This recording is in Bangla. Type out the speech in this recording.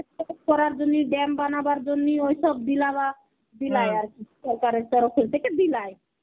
করার জন্নি dam বানাবার জন্নি ঐসব বিলায় আর কি সরকারের তরফ থেকে বিলায়.